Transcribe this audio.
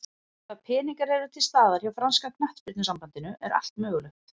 Ef að peningar eru til staðar hjá franska knattspyrnusambandinu er allt mögulegt.